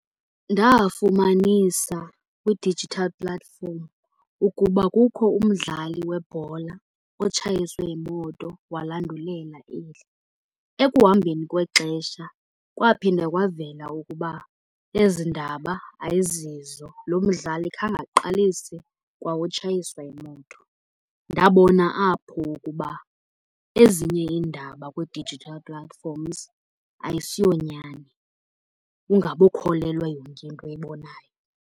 Ndafumanisa kwi-digital platform ukuba kukho umdlali webhola otshayiswe yimoto walandulela eli. Ekuhambeni kwexesha kwaphinda kwavela ukuba ezi ndaba ayizizo, lo mdlali khange aqalise kwa utshayiswa yimoto. Ndabona apho ukuba ezinye iindaba kwi-digital platforms ayisiyo nyani ungabokholelwa yonke into oyibonayo.